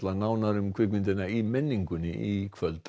nánar um kvikmyndina í menningunni í kvöld